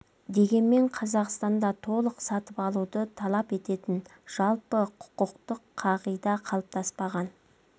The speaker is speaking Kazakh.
дегенмен қазақстанда толық сатып алуды талап ететін жалпы құқықтық қағида қалыптаспаған